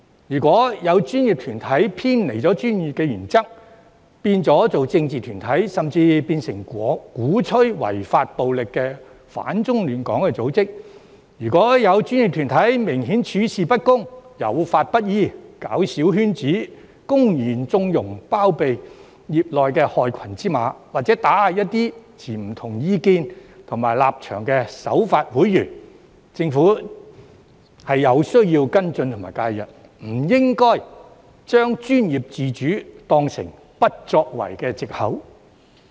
如果有專業團體偏離專業原則，變成政治團體，甚至變成鼓吹違法暴力、反中亂港的組織，或者如果有專業團體明顯處事不公、有法不依、搞小圈子，公然縱容、包庇業內的害群之馬，或打壓一些持不同意見和立場的守法會員，政府便有需要跟進和介入，而不應把專業自主當成不作為的藉口。